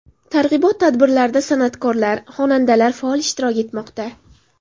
Targ‘ibot tadbirlarida san’atkorlar, xonandalar faol ishtirok etmoqda.